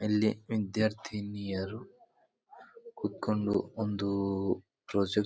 ಇಲ್ಲಿ ವಿದ್ಯಾರ್ಥಿನಿಯರು ಕುತ್ಕೊಂಡು ಒಂದು ಪ್ರಾಜೆಕ್ಟ್ --